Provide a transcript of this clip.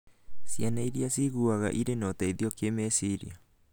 Ciana iria ciĩiguaga irĩ na ũteithio kĩmeciria